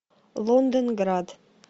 лондонград